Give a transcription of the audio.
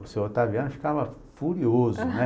O senhor Otaviano ficava furioso, né?